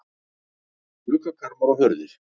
Gluggakarma og hurðir.